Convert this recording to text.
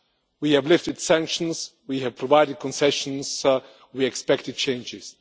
We have lifted sanctions, we have provided concessions, and we expected changes.